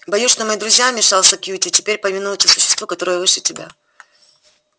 боюсь что мои друзья вмешался кьюти теперь повинуются существу которое выше тебя